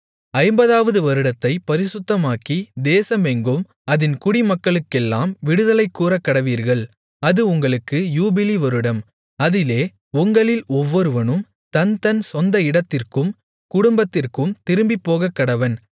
50 வது வருடத்தைப் பரிசுத்தமாக்கி தேசமெங்கும் அதின் குடிமக்களுக்கெல்லாம் விடுதலை கூறக்கடவீர்கள் அது உங்களுக்கு யூபிலி வருடம் அதிலே உங்களில் ஒவ்வொருவனும் தன்தன் சொந்த இடத்திற்கும் குடும்பத்திற்கும் திரும்பிப் போகக்கடவன்